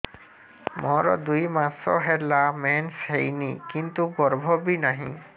ମୋର ଦୁଇ ମାସ ହେଲା ମେନ୍ସ ହେଇନି କିନ୍ତୁ ଗର୍ଭ ବି ନାହିଁ